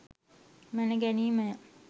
මැන ගැනීම ය.